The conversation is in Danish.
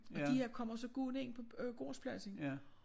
Og de her kommer så gående ind på øh gårdspladsen